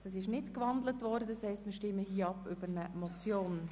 Der Vorstoss wurde nicht gewandelt und bleibt eine Motion.